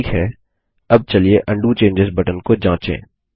ठीक है अब चलिए उंडो चेंजों बटन को जाँचे